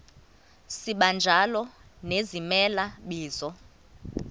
sibanjalo nezimela bizo